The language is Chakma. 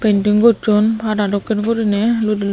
penting gosson pada dokkey guriney ludi.